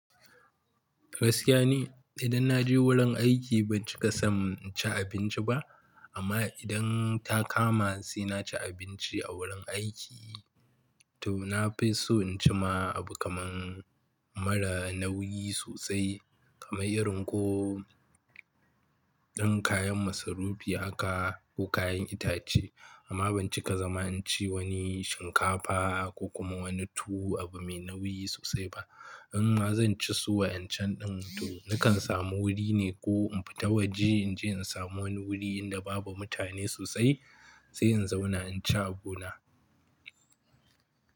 Gaskiya ne idan na je wurin aiki ban cika sanin ci abinci ba amma idan ta kama sai na ci abinci a wurin aiki to na fi so in ci ma abu kaman mara nauyi sosai kamar irin ko irin kayan masarufi haka ko kayan itace amma ban cika zama in ci wani shinkafa ko kuma wani tuwo abu mai nauyi sosai ba. In ma zan ci su wa'incan din to nakan samu wuri ne ko in fita waje in je in samu wani wuri inda babu mutane sosai sai in zauna in ci abu na.